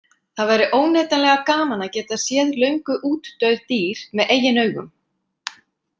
Það væri óneitanlega gaman að geta séð löngu útdauð dýr með eigin augum.